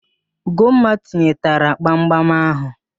Ugomma tinyetara gbamgbam ahụ